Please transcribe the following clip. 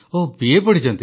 ଓଃ BA ପଢ଼ିଛନ୍ତି